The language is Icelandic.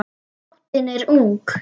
Nóttin er ung